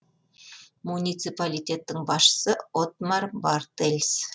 муниципалитеттің басшысы оттмар бартельс